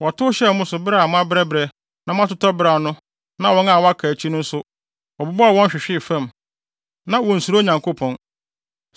Wɔtow hyɛɛ mo so bere a moabrɛbrɛ na moatotɔ beraw no na wɔn a wɔaka akyi no nso, wɔbobɔɔ wɔn hwehwee fam. Na wonsuro Onyankopɔn.